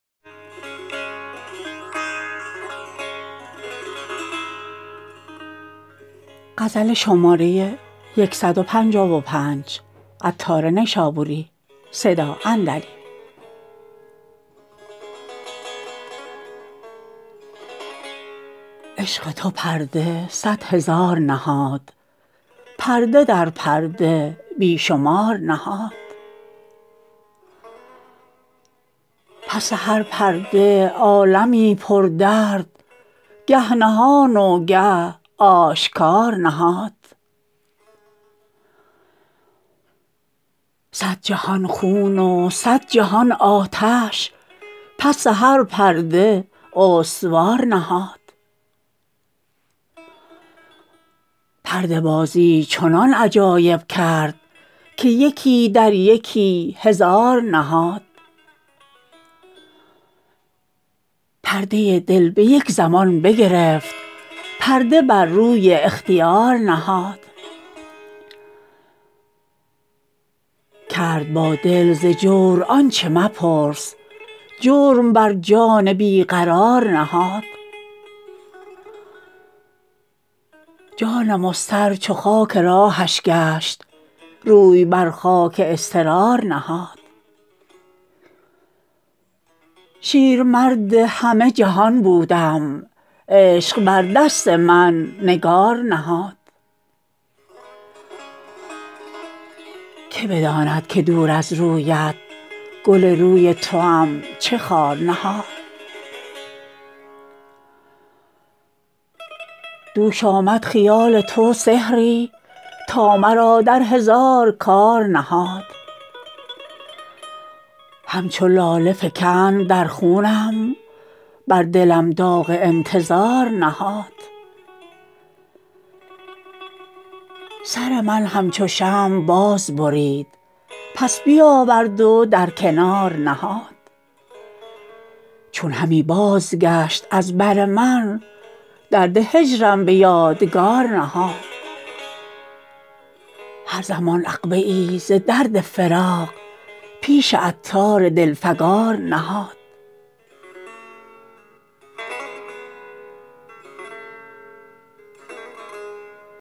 عشق تو پرده صد هزار نهاد پرده در پرده بی شمار نهاد پس هر پرده عالمی پر درد گه نهان و گه آشکار نهاد صد جهان خون و صد جهان آتش پس هر پرده استوار نهاد پرده بازی چنان عجایب کرد که یکی در یکی هزار نهاد پرده دل به یک زمان بگرفت پرده بر روی اختیار نهاد کرد با دل ز جور آنچه مپرس جرم بر جان بی قرار نهاد جان مضطر چو خاک راهش گشت روی بر خاک اضطرار نهاد شیرمرد همه جهان بودم عشق بر دست من نگار نهاد که بداند که دور از رویت گل روی توام چه خار نهاد دوش آمد خیال تو سحری تا مرا در هزار کار نهاد همچو لاله فکند در خونم بر دلم داغ انتظار نهاد سر من همچو شمع باز برید پس بیاورد و در کنار نهاد چون همی بازگشت از بر من درد هجرم به یادگار نهاد هر زمان عقبه ای ز درد فراق پیش عطار دل فگار نهاد